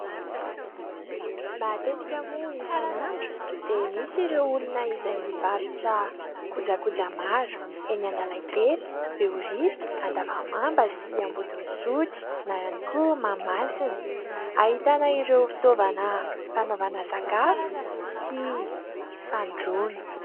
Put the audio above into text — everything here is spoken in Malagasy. matetika moa isan'andro dia misy ireo olona izay mivarotra kojakoja maro eny analakely behoririka andavamamba sy ambodin' isotry na ihany koa mahamasina hahitana ireo fitaovana fanaovana sakafo sy fandroana